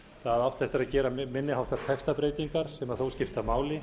það átti eftir að gera minni háttar textabreytingar sem þó skipta máli